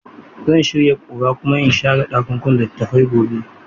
Zan shirya ƙura kuma in share ɗakunan littattafai gobe.